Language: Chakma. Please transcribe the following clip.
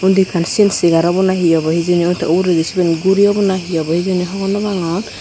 undi ekkan sen segar obo na hi obo hejini tey uguredi siyen guri obo na hi obo hijeni hogor no pangor.